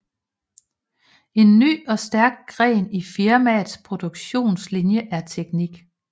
En ny og stærk gren i firmaets produktlinje er teknik